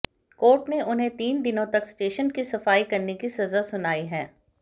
court ने उन्हें तीन दिनों तक स्टेशन की सफाई करने की सजा सुनाई है